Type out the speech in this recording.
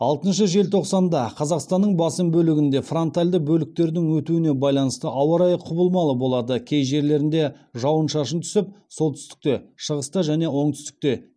алтыншы желтоқсанда қазақстанның басым бөлігінде фронтальді бөліктердің өтуіне байланысты ауа райы құбылмалы болады кей жерлерінде жауын шашын түсіп солтүстікте шығыста және оңтүстікте